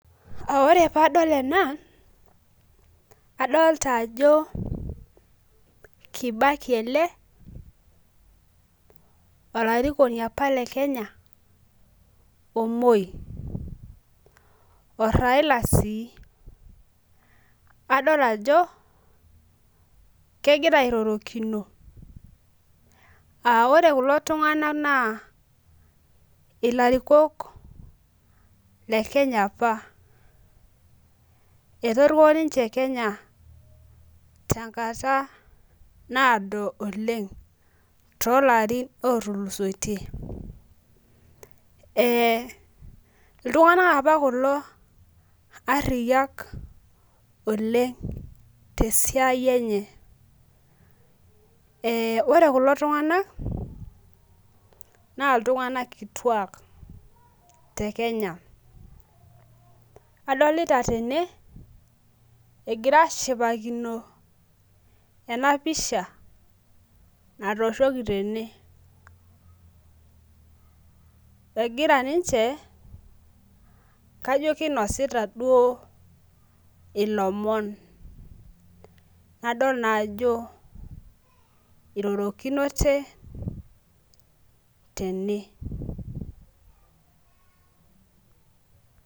Ah ore paadol ena adolita ajo kibaki ele olarikoni apa le kenya omoi oraila si adol ajo kegira airorokino ah ore kulo tunganak naa ilarikok le kenya apa etoriko ninche Kenya tenkata naado oleng too larin otulusoitie eh iltunganak apa kulo ariyiak oleng te siai enye eh ore kulo tunganak naa iltunganak kituak te kenya adolita tene egira ashipakino ene pisha natooshoki tene egira ninche kajo kinosita duo ilomon nadol naa ajo irorokinote tene .